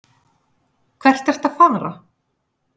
Hvert ertu að fara?